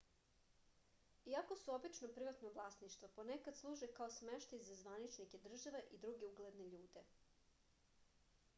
iako su obično privatno vlasništvo ponekad služe kao smeštaj za zvaničnike država i druge ugledne ljude